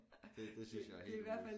Det det synes jeg er helt vildt